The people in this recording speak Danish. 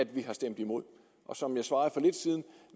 vi har stemt imod